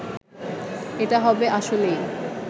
এটা হবে আসলেই